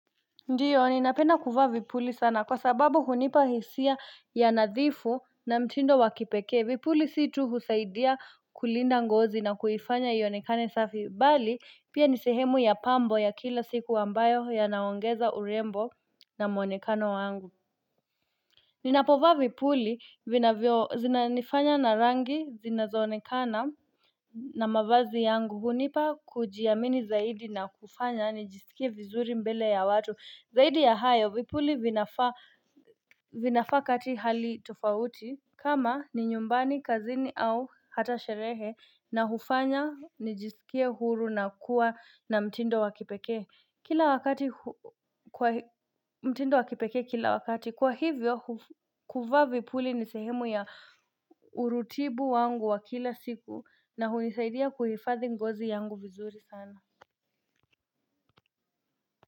Ndiyo ninapena kuvaa vipuli sana kwa sababu hunipa hisia ya nadhifu na mtindo wa kipekee vipuli situ husaidia kulinda ngozi na kuifanya ionekane safi bali pia ni sehemu ya pambo ya kila siku ambayo yanaongeza urembo na muonekano wangu Ninapovaa vipuli vinavyo zinifanya na rangi zinazoonekana na mavazi yangu hunipa kujiamini zaidi na kufanya nijisikie vizuri mbele ya watu zaidi ya hayo vipuli vinafaa vinafaa kati hali tufauti kama ni nyumbani, kazini au hata sherehe na hufanya, nijisikia huru na kuwa na mtindo wa kipekee Kila wakati, mtindo wa kipekee kila wakati Kwa hivyo, kuvaa vipuli ni sehemu ya urutibu wangu wa kila siku na hunisaidia kuhifathi ngozi yangu vizuri sana.